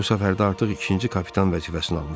Bu səfərdə artıq ikinci kapitan vəzifəsini almışam.